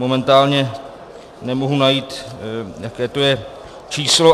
Momentálně nemohu najít, jaké to je číslo.